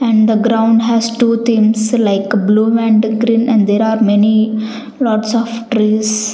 and the ground has two themes like blue and green and many lots of trees.